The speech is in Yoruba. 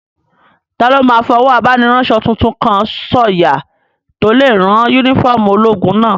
Taló máa fọwọ́ abániránsọ tuntun kan sọ̀yà tó lè rán yúnífọ́ọ̀mù ológun náà?